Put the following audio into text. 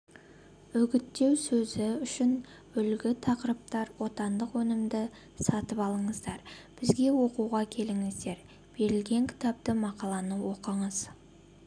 үгіттеу сөзі үшін үлгі тақырыптар отандық өнімді сатып алыңыздар бізге оқуға келіңіздер берілген кітапты мақаланы оқыңыз